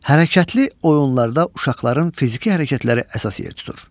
Hərəkətli oyunlarda uşaqların fiziki hərəkətləri əsas yer tutur.